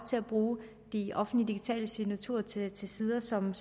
til at bruge de offentlige digitale signaturer til til sider som